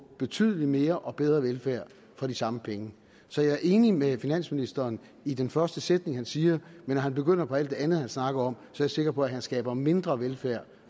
betydelig mere og bedre velfærd for de samme penge så jeg er enig med finansministeren i den første sætning han siger men når han begynder på alt det andet han snakker om jeg sikker på at han skaber mindre velfærd